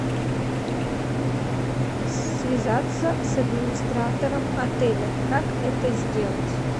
связаться с администратором отеля как это сделать